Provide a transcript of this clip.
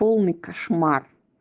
полный кошмар